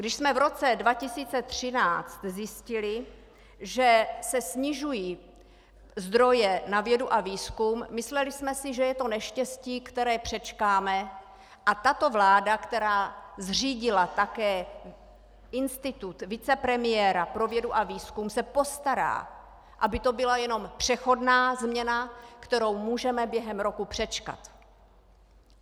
Když jsme v roce 2013 zjistili, že se snižují zdroje na vědu a výzkum, mysleli jsme si, že je to neštěstí, které přečkáme, a tato vláda, která zřídila také institut vicepremiéra pro vědu a výzkum, se postará, aby to byla jenom přechodná změna, kterou můžeme během roku přečkat.